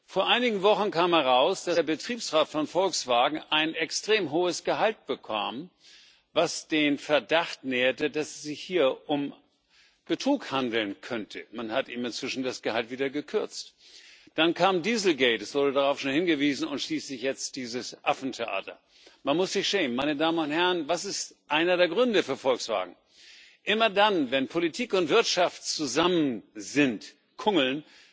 Vor einigen Wochen kam heraus, dass der Betriebsrat von Volkswagen ein extrem hohes Gehalt bekam, was den Verdacht nährte, dass es sich hier um Betrug handeln könnte. Man hat ihm inzwischen das Gehalt wieder gekürzt. Dann kam Diesel Gate es wurde darauf hingewiesen und schließlich jetzt dieses Affentheater. Man muss sich schämen. Was ist einer der Gründe für Volkswagen? Immer dann, wenn Politik und Wirtschaft zusammen sind,